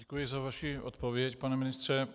Děkuji za vaši odpověď, pane ministře.